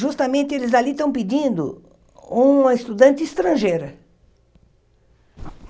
justamente eles ali estão pedindo uma estudante estrangeira.